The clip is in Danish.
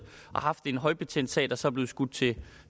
og haft en højbetændt sag der så er blevet skudt til